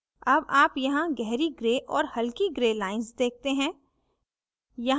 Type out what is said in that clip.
अब आप यहाँ gray gray और हल्की gray lines देखते हैं